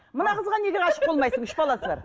мына қызға неге ғашық болмайсың үш баласы бар